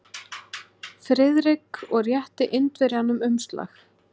Friðrik og rétti Indverjanum umslag.